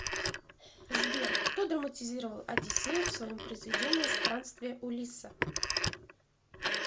сбер кто драматизировал одиссею в своем произведении странствия улисса